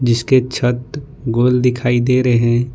जिसके छत गोल दिखाई दे रहे--